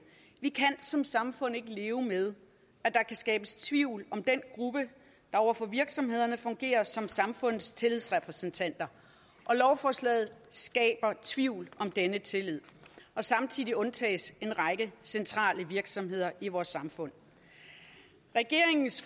vi kan som samfund ikke leve med at der kan skabes tvivl om den gruppe der over for virksomhederne fungerer som samfundets tillidsrepræsentanter og lovforslaget skaber tvivl om denne tillid samtidig undtages en række centrale virksomheder i vores samfund regeringens